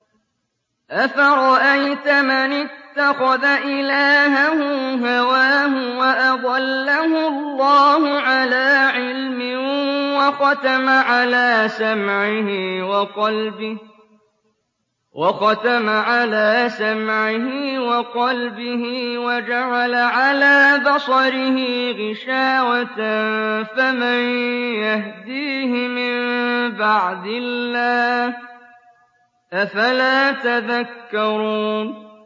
أَفَرَأَيْتَ مَنِ اتَّخَذَ إِلَٰهَهُ هَوَاهُ وَأَضَلَّهُ اللَّهُ عَلَىٰ عِلْمٍ وَخَتَمَ عَلَىٰ سَمْعِهِ وَقَلْبِهِ وَجَعَلَ عَلَىٰ بَصَرِهِ غِشَاوَةً فَمَن يَهْدِيهِ مِن بَعْدِ اللَّهِ ۚ أَفَلَا تَذَكَّرُونَ